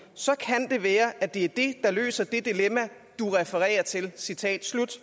så kan det være at det er det der løser det dilemma du refererer til citat slut